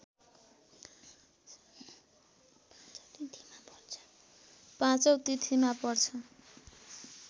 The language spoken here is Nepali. पाँचौ तिथिमा पर्छ